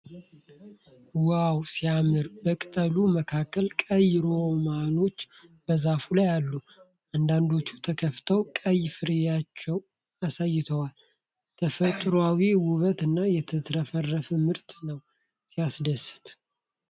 ዋው ሲያምር! በቅጠሎች መካከል ቀይ ሮማኖች በዛፍ ላይ አሉ። አንዳንዶቹ ተከፍተው ቀይ ፍሬያቸውን አሳይተዋል። ተፈጥሯዊ ውበት እና የተትረፈረፈ ምርት ነው ። ሲያስደስት!